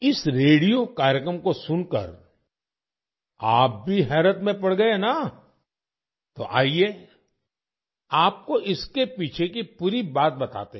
इस रेडियो कार्यक्रम को सुनकर आप भी हैरत में पड़ गए ना तो आइए आपको इसके पीछे की पूरी बात बताते हैं